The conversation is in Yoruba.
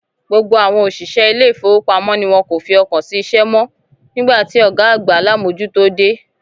Gbogbo àwọn oṣiṣẹ ilé ifowopamọ ní wọn kò fi ọkàn sí iṣẹ mọ, nigba ti ọgá àgbà alamojuto dé.